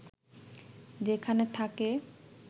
যেখানে থাকে